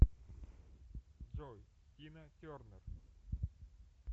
джой тина тернер